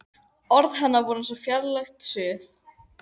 Orð hennar voru eins og fjarlægt suð.